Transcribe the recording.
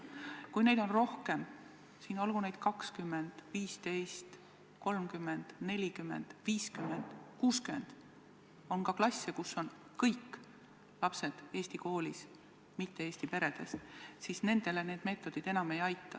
Kui neid on rohkem – 20, 15, 30, 40, 50 või 60% ja on ka klasse, kus on kõik lapsed eesti koolis mitte-eesti peredest –, siis need meetodid enam ei aita.